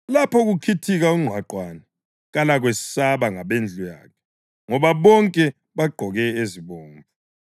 Lapho kukhithika ungqwaqwane, kalakwesaba ngabendlu yakhe; ngoba bonke bagqoke ezibomvu.